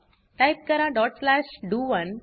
type करा dot slash डीओ1